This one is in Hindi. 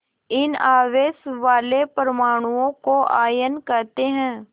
इन आवेश वाले परमाणुओं को आयन कहते हैं